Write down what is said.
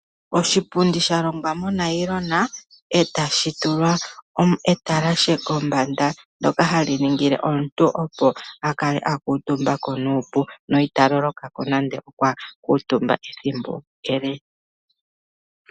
Oshipundi sha longwa monayilona etashi tulwa etalashe kombanda ndyoka hali ningile omuntu a kuutumbeko nuupu nande okwakuutumba ethimbo ele ita vulwa.